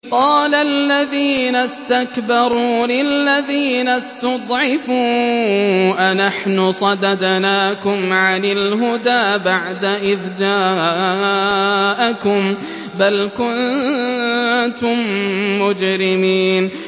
قَالَ الَّذِينَ اسْتَكْبَرُوا لِلَّذِينَ اسْتُضْعِفُوا أَنَحْنُ صَدَدْنَاكُمْ عَنِ الْهُدَىٰ بَعْدَ إِذْ جَاءَكُم ۖ بَلْ كُنتُم مُّجْرِمِينَ